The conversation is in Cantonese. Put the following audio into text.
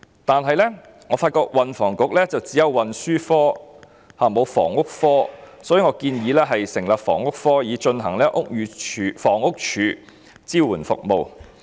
然而，我發現運輸及房屋局只有運輸科，卻沒有房屋科，所以我建議成立房屋科，以執行房屋署的支援服務。